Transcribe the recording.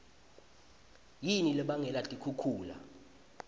yini lebangela tikhukhula